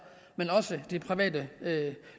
men også private